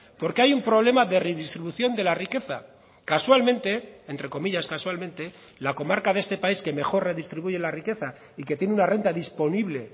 porque hay un problema de redistribución de la riqueza casualmente entre comillas casualmente la comarca de este país que mejor redistribuye la riqueza y que tiene una renta disponible